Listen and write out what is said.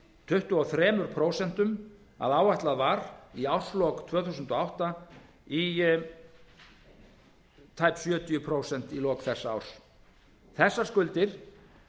tuttugu og þrjú prósent að áætlað var í árslok tvö þúsund og átta í tæp sjötíu prósent í lok þessa árs þessar skuldir